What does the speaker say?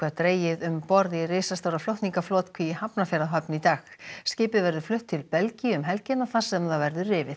dregið um borð í risastóra flutningaflotkví í Hafnarfjarðarhöfn í dag skipið verður flutt til Belgíu um helgina þar sem það verður rifið